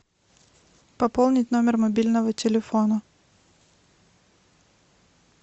пополнить номер мобильного телефона